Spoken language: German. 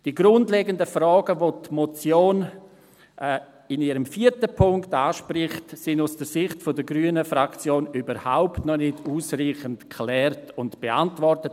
Die grundlegenden Fragen, welche die Motion in ihrem vierten Punkt anspricht, sind aus Sicht der grünen Fraktion überhaupt noch nicht ausreichend geklärt und beantwortet;